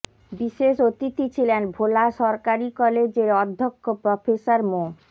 বিশেষ অতিথি ছিলেন ভোলা সরকারি কলেজের অধ্যক্ষ প্রফেসর মো